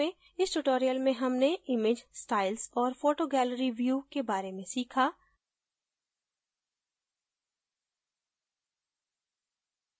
इस tutorial में हमने image styles और photo gallery view के बारे में सीखा